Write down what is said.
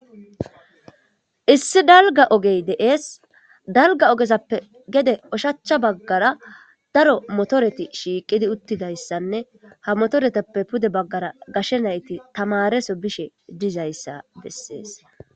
Issi dalga ogey deees dalga ogezappe gede oshachcha baggara daro motoreti shiiqidi uttidayssanne ha motoretappe pude baggara gashe nayti tamareso bishe dizayssa bessees